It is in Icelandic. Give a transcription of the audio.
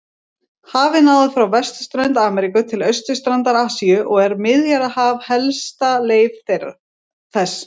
Hafið náði frá vesturströnd Ameríku til austurstrandar Asíu og er Miðjarðarhaf helsta leif þess.